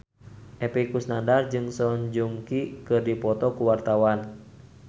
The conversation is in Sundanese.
Epy Kusnandar jeung Song Joong Ki keur dipoto ku wartawan